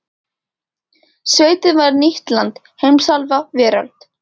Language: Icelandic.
Sveitin var nýtt land, heimsálfa, veröld.